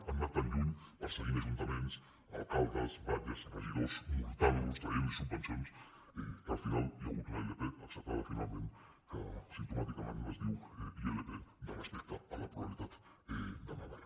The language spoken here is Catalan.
han anat tan lluny perseguint ajuntaments alcaldes batlles regidors multant los traient los subvencions que al final hi ha hagut una ilp acceptada finalment que simptomàticament es diu ilp de respecte a la pluralitat de navarra